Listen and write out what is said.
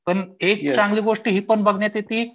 पण एक चांगली गोष्ट ही पण बघण्यात येति